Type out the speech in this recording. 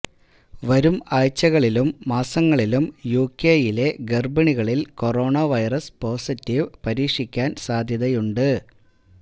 വരും ആഴ്ചകളിലും മാസങ്ങളിലും യുകെയിലെ ഗർഭിണികളിൽ കൊറോണ വൈറസ് പോസിറ്റീവ് പരീക്ഷിക്കാൻ സാധ്യതയുണ്ട്